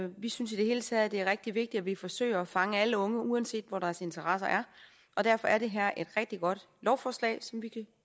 vi synes i det hele taget det er rigtig vigtigt at vi forsøger at fange alle unge uanset hvor deres interesser er og derfor er det her et rigtig godt lovforslag som vi kan